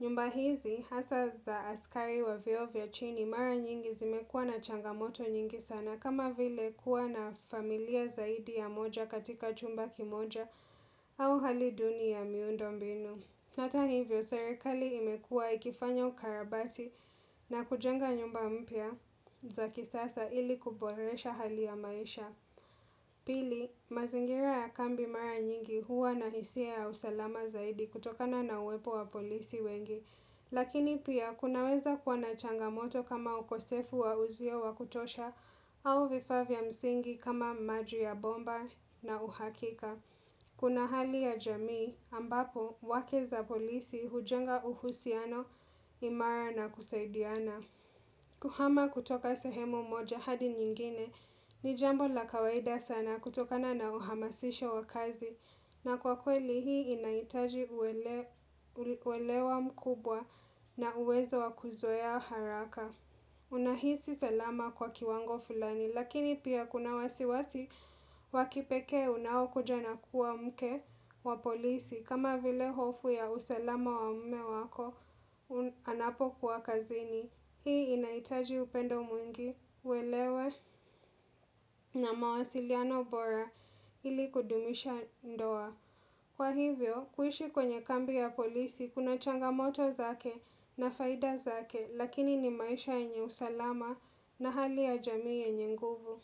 Nyumba hizi, hasa za askari wa vyeo vya chini mara nyingi zimekuwa na changamoto nyingi sana kama vile kuwa na familia zaidi ya moja katika chumba kimoja au hali duni ya miundo mbinu. Hata hivyo, serikali imekuwa ikifanya ukarabati na kujenga nyumba mpya za kisasa ili kuboresha hali ya maisha. Pili, mazingira ya kambi mara nyingi huwa na hisia ya usalama zaidi kutokana na uwepo wa polisi wengi, lakini pia kunaweza kuwa na changamoto kama ukosefu wa uzio wa kutosha au vifaa vya msingi kama maji ya bomba na uhakika. Kuna hali ya jamii ambapo wake za polisi hujenga uhusiano imara na kusaidiana. Kuhama kutoka sehemu moja hadi nyingine ni jambo la kawaida sana kutokana na uhamasisho wa kazi na kwa kweli hii inahitaji uwelewa mkubwa na uwezo wa kuzoea haraka. Unahisi salama kwa kiwango fulani Lakini pia kuna wasiwasi wa kipekee unaokuja na kuwa mke wa polisi kama vile hofu ya usalama wa mume wako anapokuwa kazini Hii inahitaji upendo mwingi uelewe na mawasiliano bora ili kudumisha ndoa Kwa hivyo kuishi kwenye kambi ya polisi kuna changamoto zake na faida zake Lakini ni maisha yenye usalama na hali ya jamii yenye nguvu.